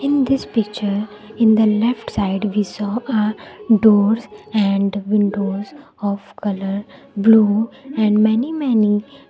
in this picture in the left side we saw a doors and windows of colour blue and many many --